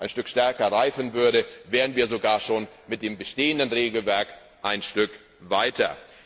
Stück stärker reifen würde, wären wir sogar schon mit dem bestehenden Regelwerk ein Stück weiter.